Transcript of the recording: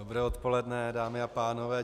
Dobré odpoledne, dámy a pánové.